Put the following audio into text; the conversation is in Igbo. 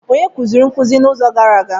Onye kuziri nkuzi n'izu gara aga?